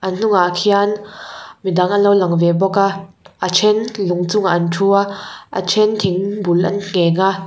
a hnungah khian midang anlo lang ve bawk a a then lung chungah an thu a a then thing bul an ngheng a--